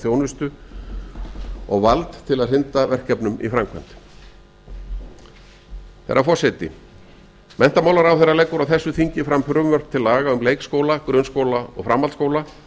þjónusta og vald til að hrinda verkefnum í framkvæmd herra forseti menntamalaráðherra leggur á þessu þingi fram frumvörp til laga um leikskóla grunnskóla og framhaldsskóla